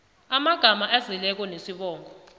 amagama azeleko nesibongo